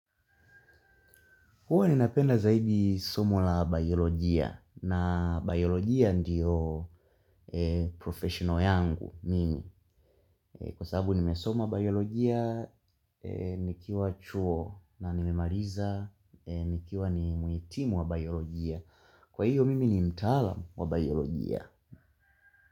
Huwa ni napenda zaidi somo la biolojia na biolojia ndiyo professional yangu mimi. Kwa sababu nimesoma biolojia, nikiwa chuo na nimemaliza, nikiwa ni muhitimu wa biolojia. Kwa hiyo mimi ni mtaalamu wa biolojia.